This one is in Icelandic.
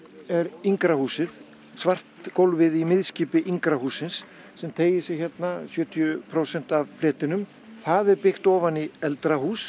er yngra húsið svart gólfið í yngra hússins sem teygir sig hérna sjötíu prósent af fletinum það er byggt ofan í eldra hús